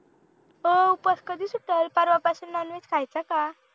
हो उपवास कधी सुटतंय पर्वा पासून non veg खायचं का